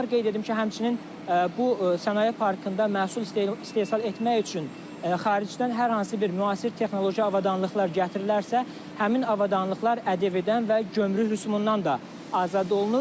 Qeyd edim ki, həmçinin bu Sənaye Parkında məhsul istehsal etmək üçün xaricdən hər hansı bir müasir texnoloji avadanlıqlar gətirilərsə, həmin avadanlıqlar ƏDV-dən və gömrük rüsumundan da azad olunur.